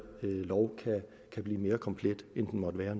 lovforslag kan blive mere komplet end det måtte være